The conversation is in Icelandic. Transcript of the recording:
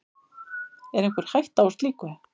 Er einhver hætta á slíku?